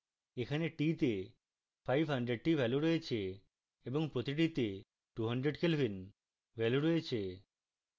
এখন t তে 500 the value রয়েছে এবং প্রতিটিতে 200 kelvin value রয়েছে